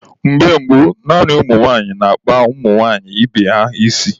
Mgbe gboo, naanị ụmụ nwaanyị na-akpa nwaanyị ibe ha isi.